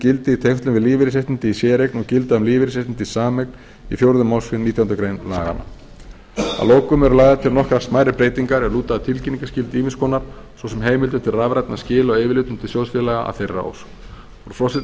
tengslum við lífeyrisréttindi í séreign og gilda um lífeyrisréttindi í sameign í fjórðu málsgrein nítjánda grein laganna að lokum eru lagðar til nokkrar smærri breytingar er lúta að tilkynningarskyldu ýmiss konar svo sem heimildir til rafrænna skila á yfirlitum til sjóðsfélaga að þeirra ósk frí forseti að þessu